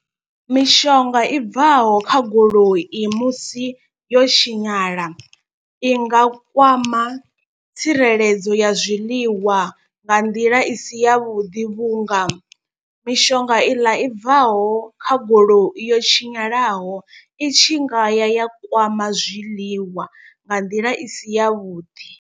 Mishonga i bvaho kha goloi musi yo tshinyala, i nga kwama tsireledzo ya zwiḽiwa nga nḓila isi yavhuḓi. Vhunga mishonga iḽa i bvaho kha goloi yo tshinyalaho itshi ngaya ya kwama zwiḽiwa nga nḓila isi yavhuḓi.